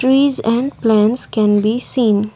trees and plants can be seen.